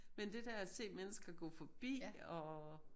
Men det der at se mennesker gå forbi og